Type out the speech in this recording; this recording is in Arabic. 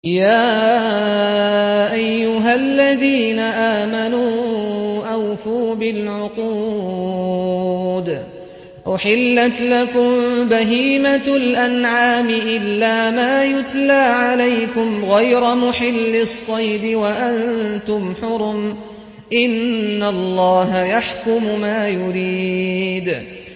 يَا أَيُّهَا الَّذِينَ آمَنُوا أَوْفُوا بِالْعُقُودِ ۚ أُحِلَّتْ لَكُم بَهِيمَةُ الْأَنْعَامِ إِلَّا مَا يُتْلَىٰ عَلَيْكُمْ غَيْرَ مُحِلِّي الصَّيْدِ وَأَنتُمْ حُرُمٌ ۗ إِنَّ اللَّهَ يَحْكُمُ مَا يُرِيدُ